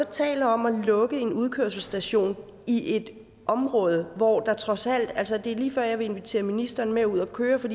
taler om at lukke en udkørselsstation i et område hvor der trods alt er altså det er lige før jeg vil invitere ministeren med ud at køre for